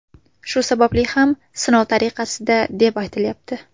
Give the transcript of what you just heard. Shu sababli ham sinov tariqasida, deb aytilayapti.